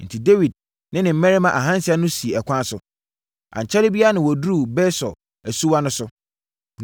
Enti, Dawid ne ne mmarima ahansia no sii ɛkwan so. Ankyɛre biara na wɔduruu Besor asuwa no so.